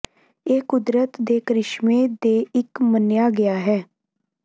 ਇਹ ਕੁਦਰਤ ਦੇ ਕ੍ਰਿਸ਼ਮੇ ਦੇ ਇੱਕ ਮੰਨਿਆ ਗਿਆ ਹੈ